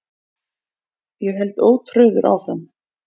Ég held ótrauður áfram.